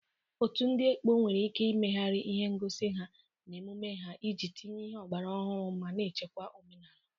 Otu ndị ekpo nwere ike imegharị ihe ngosi ha na emume ha iji tinye ihe ọgbara ọhụrụ ma na-echekwa omenala.